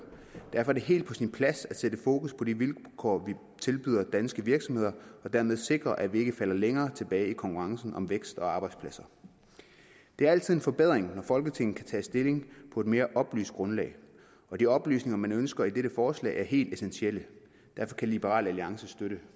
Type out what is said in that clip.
derfor er det helt på sin plads at sætte fokus på de vilkår vi tilbyder danske virksomheder for dermed at sikre at vi ikke falder længere tilbage i konkurrencen om vækst og arbejdspladser det er altid en forbedring når folketinget kan tage stilling på et mere oplyst grundlag og de oplysninger man ønsker i dette forslag er helt essentielle derfor kan liberal alliance støtte